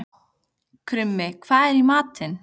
Krummi, hvað er í matinn?